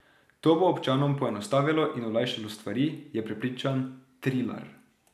To bo občanom poenostavilo in olajšalo stvari, je prepričan Trilar.